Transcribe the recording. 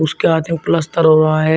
उसके हाथ में प्लस्तर हुआ है।